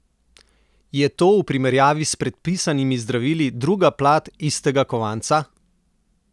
Je to v primerjavi s predpisanimi zdravili druga plat istega kovanca?